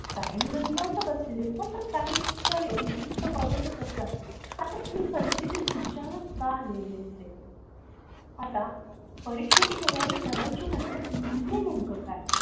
काही मूल निवांत बसलेली असतात तर काही म्हणजे नुसतं बघतच असतात आता हि परिस्तिथी तुमच्यावर का आलेली असते आता परीक्षेची तयारी करायची म्हणजे नेमकं काय असत.